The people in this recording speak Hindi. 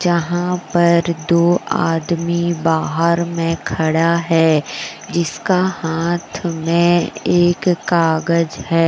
यहां पर दो आदमी बाहर मे खड़ा है जिसका हाथ मे एक कागज है।